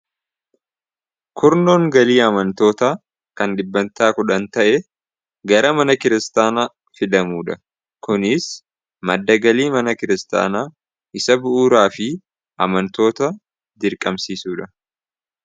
kurnoon galii amantoota kan dhibbantaa kudhan ta'e gara mana kiristaanaa fidamuudha kuniis maddagalii mana kiristaanaa isa bu'uuraa fi amantoota jirqamsiisuudha